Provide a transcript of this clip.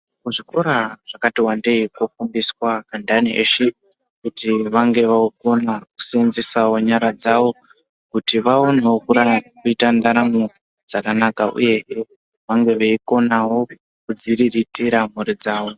Kuzvikora zvakat wandei kunofundiswa antani eshe kuti vange vookona kuseenzesesawo nyara dzawo kuti vaonewo kuite ndaramo dzakanaka uyehe vange veikona kudziriritira mhuri dzawo.